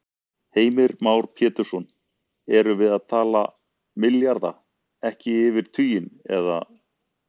Heimir Már Pétursson: Erum við að tala milljarða, ekki yfir tuginn, eða?